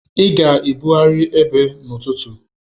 Ị ga-ebugharị ebe n'ụtụtụ!